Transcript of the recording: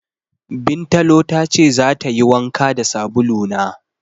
Bintalo ta ce zata yi wanka da sabulu na.